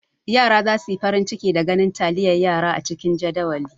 Yara za su yi farin ciki da ganin taliyar yara a cikin jadawali.